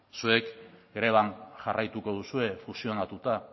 zuek greban jarraituko duzue fusionatuta